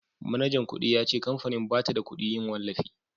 manajan kudi ya ce kamfanin ba ta da kudin yin wallafi